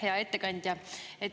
Hea ettekandja!